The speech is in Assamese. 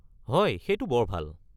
হয়, সেইটো বৰ ভাল।